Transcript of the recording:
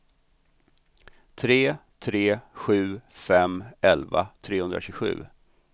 tre tre sju fem elva trehundratjugosju